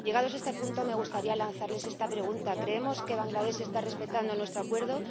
Llegados a este punto me gustaría lanzarles estas preguntas ¿Creemos que Bangladés está respetando el Acuerdo?